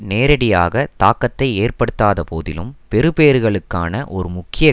நேரடியாக தாக்கத்தை ஏற்படுத்தாத போதிலும் பெறுபேறுகளுக்கான ஒரு முக்கிய